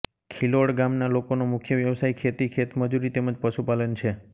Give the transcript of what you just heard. ખિલોડ ગામના લોકોનો મુખ્ય વ્યવસાય ખેતી ખેતમજૂરી તેમ જ પશુપાલન છે